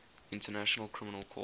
international criminal court